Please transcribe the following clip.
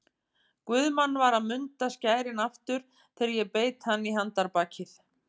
Guðmann var að munda skærin aftur þegar ég beit hann í handarbakið.